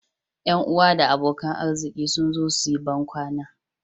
Yan uwa da abokan arziki sun zo su yi bankwana